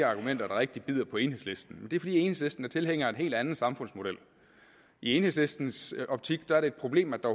argumenter der rigtig bider på enhedslisten det er fordi enhedslisten er tilhængere af en helt anden samfundsmodel i enhedslistens optik er det et problem at der